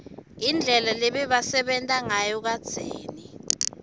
indlela lebabesenta nsayo kadzeni